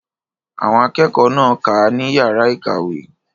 Àwọn akẹ́kọ̀ọ́ náà kà á ní yàrá ìkàwé.